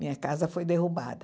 Minha casa foi derrubada.